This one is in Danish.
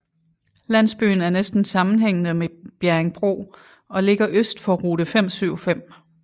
Landsbyen er næsten sammenhængende med Bjerringbro og ligger øst for rute 575